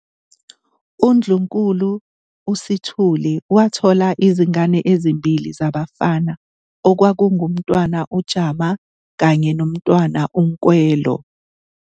UNdlunkulu uSithuli wathola izingane ezimbili zabafana okwakunguMntwana uJama kanye noMntwana uNkwelo.